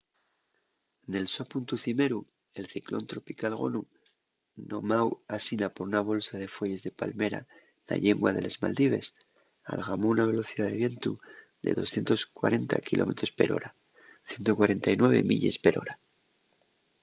nel so puntu cimeru el ciclón tropical gonu nomáu asina por una bolsa de fueyes de palmera na llingua de les maldives algamó una velocidá de vientu de 240 kilómetros per hora 149 milles per hora